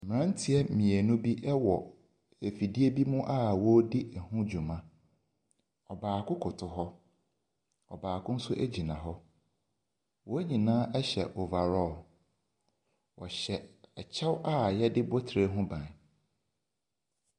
Mmeranteɛ mmienu bi wɔ afidie bi mu a wɔredi ho dwuma. Ɔbaako koto hɔ, ɔbaako nso gyina hɔ. Wɔn nyinaa hyɛ overall. Wɔhyɛ kyɛw a wɔde bɔ tire ho ban.